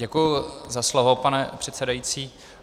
Děkuji za slovo, pane předsedající.